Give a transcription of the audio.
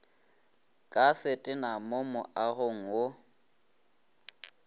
ka setena mo moagong wo